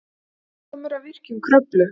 Lærdómur af virkjun Kröflu